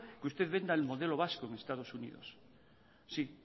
que usted venda el modelo vasco en estados unidos sí